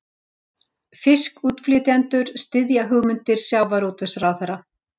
Fiskútflytjendur styðja hugmyndir sjávarútvegsráðherra